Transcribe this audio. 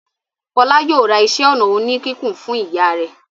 Fọlá yóò ra iṣẹ́-ọnà oníkíkùn fún ìyá rẹ̀.